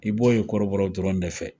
I b'o ye kɔrɔbɔrɔw dɔrɔn de fɛ